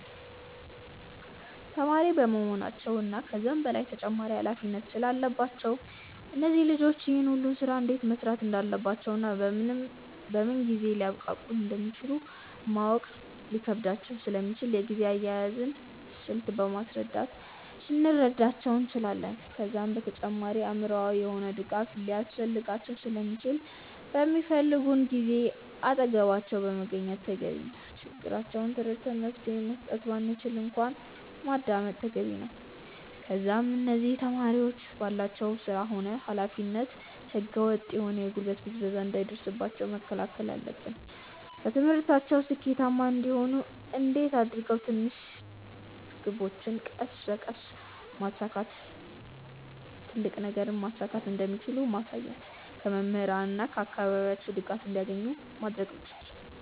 ተማሪ በመሆናቸው እና ከዛም በላይ ተጨማሪ ኃላፊነት ስላለባቸው እነዚህ ልጆች ይህን ሁሉ ስራ እንዴት መስራት እንዳለባቸውና በምን ጊዜ ሊያብቃቁት እንደሚችሉ ማወቅ ሊከብዳቸው ስለሚችል የጊዜ አያያዝን ስልት በማስረዳት ልንረዳቸው እንችላለን። ከዛም በተጨማሪ አእምሮአዊ የሆነ ድጋፍ ሊያስፈልጋቸው ስለሚችል በሚፈልጉን ጊዜ አጠገባቸው መገኘት ተገቢ ነው። ችግራቸውን ተረድተን መፍትሄ መስጠት ባንችል እንኳን ማዳመጥ ተገቢ ነው። ከዛም እነዚህ ተማሪዎች ባላቸው ስራ ሆነ ኃላፊነት ህገ ወጥ የሆነ የጉልበት ብዝበዛ እንዳይደርስባቸው መከላከል አለብን። በትምህርታቸው ስኬታማ እንዲሆኑ እንዴት አድርገው ትንሽ ግቦችን ቀስ በቀስ በማሳካት ትልቅ ነገርን ማሳካት እንደሚችሉ ማሳየት። ከመምህራን እና ከአካባቢያቸው ድጋፍ እንዲያገኙ ማድረግ መቻል።